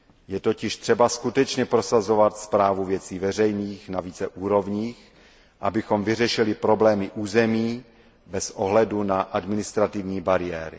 Je totiž třeba skutečně prosazovat správu věcí veřejných na více úrovních, abychom vyřešili problémy území bez ohledu na administrativní bariéry.